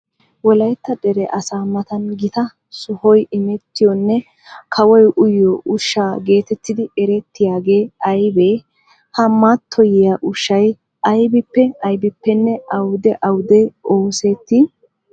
Wolaytta dere asaa matan gita sohoy imettiyonne kawoy uyiyo ushsha geetettidi erettiyagee aybee? Ha mattoyiya ushshay aybippe aybippenne awude awude oosettii?